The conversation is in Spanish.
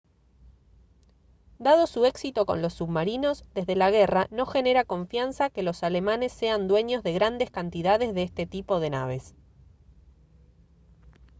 dado su éxito con los submarinos desde la guerra no genera confianza que los alemanes sean dueños de grandes cantidades de este tipo de naves